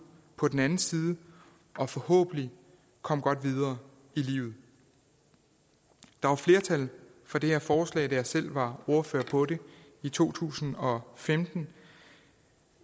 på den anden side og forhåbentlig komme godt videre i livet der var flertal for det her forslag da jeg selv var ordfører på det i to tusind og femten